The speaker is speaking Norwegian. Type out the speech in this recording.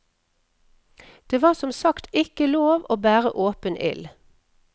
Det var som sagt ikke lov å bære åpen ild.